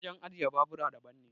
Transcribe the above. wajen ajiye babura daban ne